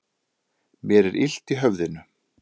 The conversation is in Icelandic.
Mér er illt í höfðinu.